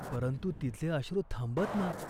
परंतु तिचे अश्रू थांबत ना.